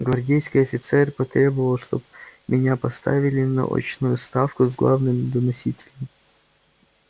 гвардейский офицер потребовал чтоб меня поставили на очную ставку с главным доносителем